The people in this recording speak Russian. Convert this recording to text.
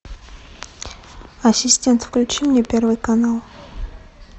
ассистент включи мне первый канал